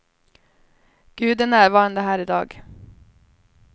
Gud är närvarande här i dag.